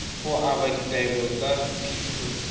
go aba ditaelo tsa phitlho